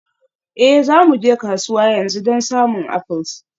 Ee, za mu je kasuwa yanzu don samun apples.